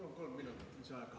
Palun kolm minutit lisaaega.